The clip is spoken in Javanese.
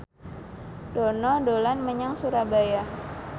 Dono dolan menyang Surabaya